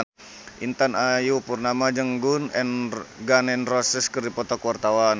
Intan Ayu Purnama jeung Gun N Roses keur dipoto ku wartawan